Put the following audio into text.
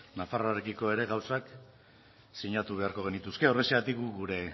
nafarroarekiko ere gauzak sinatu beharko genituzke horrexegatik gu